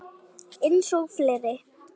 Eins og fleiri.